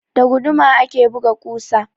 Da guduma ake buga ƙusa.